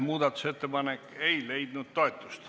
Muudatusettepanek ei leidnud toetust.